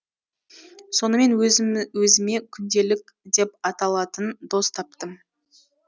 сонымен өзіме күнделік деп аталатын дос таптым